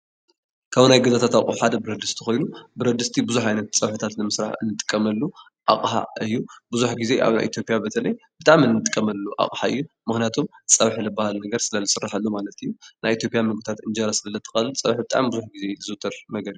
ካብ ናይ ገዛታት ኣቕሑ ሓደ ብረድስቲ ኾይኑ ብረድስቲ ብዙሕ ዓይነት ፀብሒታት ንምስራሕ ንጥቀመሉ ኣቕሓ እዩ፡፡ ብዙሕ ጊዜ ኣብ ናይ ኢትዮጵያ በተለይ ብጣዕሚ ንጥቀመሉ ኣቕሓ እዩ፡፡ ምኽንያቱም ፀብሒ ልባሃል ነገር ስለ ዝስረሐሉ ማለት እዩ፡፡ ናይ ኢትዮጵያ ምግብታት እንጀራ ስለ ዘጠቃልል ፀብሒ ብጣዕሚ ብዙሕ ጊዜ እዩ ዝዝውተር ነገር እዩ።